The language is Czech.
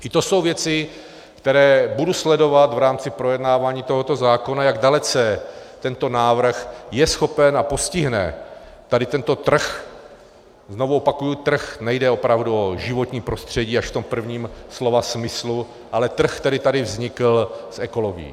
I to jsou věci, které budu sledovat v rámci projednávání tohoto zákona, jak dalece tento návrh je schopen a postihne tady tento trh - znovu opakuji trh, nejde opravdu o životní prostředí, až v tom prvním slova smyslu, ale trh, který tady vznikl s ekologií.